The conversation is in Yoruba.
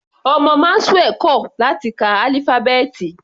Ọmọ Maxwell kò láti ka álífábẹ́ẹ̀tì.